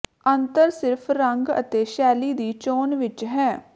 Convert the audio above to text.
ਅੰਤਰ ਸਿਰਫ਼ ਰੰਗ ਅਤੇ ਸ਼ੈਲੀ ਦੀ ਚੋਣ ਵਿਚ ਹੈ